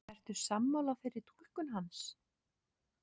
Ertu sammála þeirri túlkun hans?